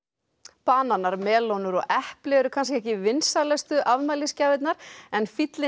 bananar melónur og epli eru kannski ekki vinsælustu afmælisgjafirnar en fíllinn